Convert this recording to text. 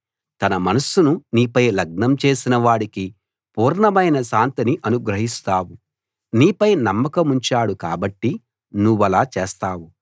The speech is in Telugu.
తన మనస్సును నీపై లగ్నం చేసిన వాడికి పూర్ణమైన శాంతిని అనుగ్రహిస్తావు నీపై నమ్మకముంచాడు కాబట్టి నువ్వలా చేస్తావు